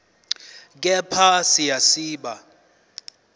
kepha siya siba